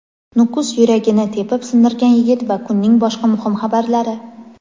Nukus "yuragi"ni tepib sindirgan yigit va kunning boshqa muhim xabarlari.